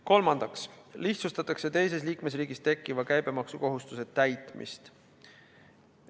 Kolmandaks lihtsustatakse teises liikmesriigis tekkiva käibemaksukohustuse täitmist.